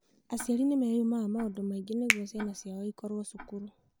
Aciari nĩ maumaga maũndũ maingĩ nĩcio ciao okorũo cukuru.